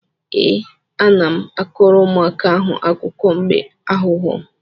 Ee, ana m akọrọ ụmụaka ahụ akụkọ mbe aghụghọ.